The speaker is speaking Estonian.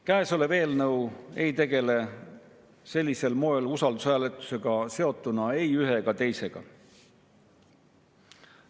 Käesolev eelnõu ei tegele sellisel moel usaldushääletusega seotuna ei ühe ega teisega.